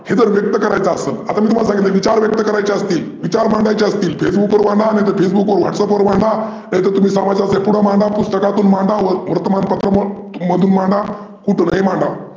हे जर व्यक्त करायच असेल मी तुम्हाला सांगितल आहे जर विचार व्यक्त करयचे असतील, विचार मांडायचे असतील Facebool वर मांडा नाहीतर WhatsApp वर मांडा, नाहीतर समाजाच्या पुढे मांडा, पुस्तकातून मांडा, वर्तमानपत्रां मधून मांडा, कुठूनही मांडा.